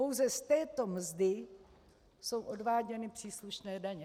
Pouze z této mzdy jsou odváděny příslušné daně.